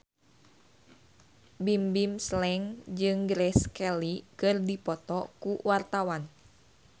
Bimbim Slank jeung Grace Kelly keur dipoto ku wartawan